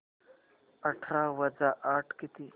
अठरा वजा आठ किती